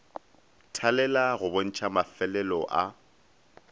thalela go bontšha mafelelo a